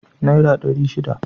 Naira ɗari shida.